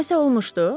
Nəsə olmuşdu?